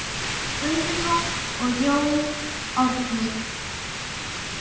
Guðrún og Jón Árni.